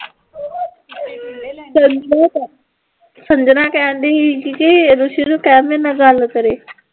ਸੰਜਣਾ ਕਹਿਣ ਡੇ ਸੀ ਕਿ ਰੂਸੀ ਨੂੰ ਕਹਿ ਮੇਰੇ ਨਾਲ ਗੱਲ ਕਰੇ